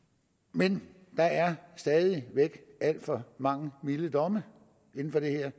men der er stadig væk alt for mange milde domme inden for det her